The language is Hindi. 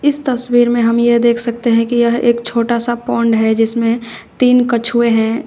इस तस्वीर में हम यह देख सकते हैं कि यह एक छोटा सा पौंड है जिसमें तीन कछुए हैं।